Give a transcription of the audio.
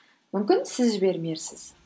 мүмкін сіз жібермерсіз